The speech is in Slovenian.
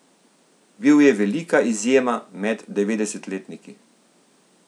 Bil je velika izjema med devetdesetletniki.